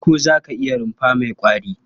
Farko za ka yi rumfa mai ƙwari.